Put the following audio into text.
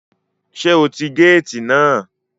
Sé o ti gáàtì náà